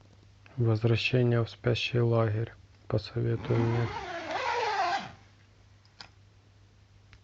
возвращение в спящий лагерь посоветуй мне